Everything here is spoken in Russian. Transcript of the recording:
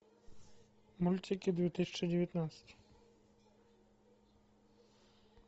мультики две тысячи девятнадцать